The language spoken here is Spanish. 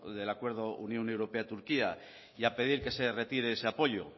del acuerdo unión europea y turquía y a pedir que se retire ese apoyo